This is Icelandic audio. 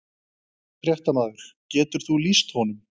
Fréttamaður: Getur þú lýst honum?